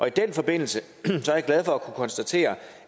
i den forbindelse er jeg glad for at kunne konstatere